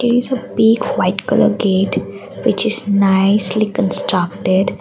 piece of pick white colour gate which is nicely constructed.